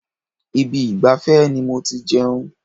Ibi ìgbafẹ́ ni mo ti jẹun.